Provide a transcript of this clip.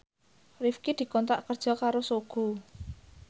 Rifqi dikontrak kerja karo Sogo